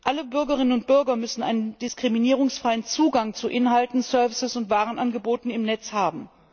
Alle Bürgerinnen und Bürger müssen einen diskriminierungsfreien Zugang zu Inhalten, Dienst und Warenangeboten im Netz haben.